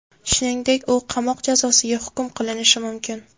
Shuningdek, u qamoq jazosiga hukm qilinishi mumkin.